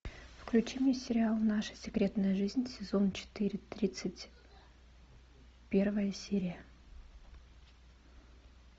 включи мне сериал наша секретная жизнь сезон четыре тридцать первая серия